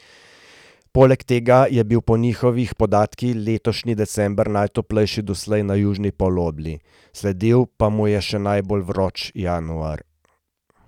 Poleg tega je bil po njihovih podatkih letošnji december najtoplejši doslej na južni polobli, sledil pa mu je še najbolj vroč januar.